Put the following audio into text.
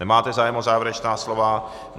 Nemáte zájem o závěrečná slova.